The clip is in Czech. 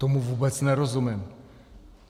Tomu vůbec nerozumím.